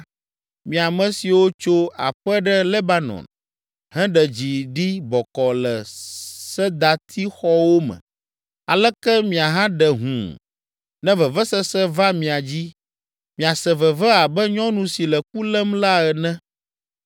Mi, ame siwo tso aƒe ɖe Lebanon, heɖe dzi ɖi bɔkɔɔ le sedatixɔwo me, aleke miahaɖe hũu, ne vevesese va mia dzi! Miase veve abe nyɔnu si le ku lém la ene!”